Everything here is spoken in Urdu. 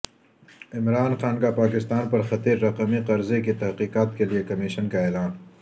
عمران خان کا پاکستان پر خطیر رقمی قرضے کی تحقیقات کیلئے کمیشن کا اعلان